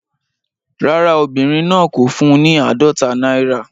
Rárá, obìnrin náà kò fún un ní àádọ́ta náírà.